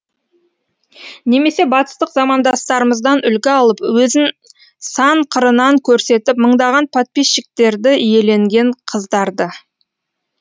немесе батыстық замандастарымыздан үлгі алып өзін сан қырынан көрсетіп мыңдаған подписчиктерді иеленген қыздарды